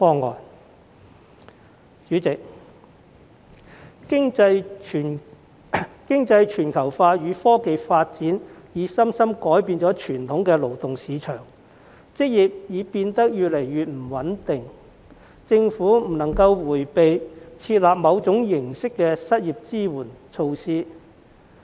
代理主席，經濟全球化與科技發展已深深改變傳統的勞動市場，職業已變得越來越不穩定，政府不應迴避設立某種形式的失業支援措施。